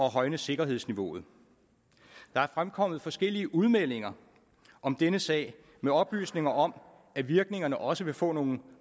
højne sikkerhedsniveauet der er fremkommet forskellige udmeldinger om denne sag med oplysninger om at virkningerne også vil få nogle